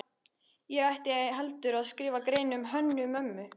Ég ætti heldur að skrifa grein um Hönnu-Mömmu.